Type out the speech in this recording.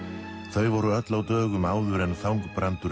þau voru öll á dögum áður en Þangbrandur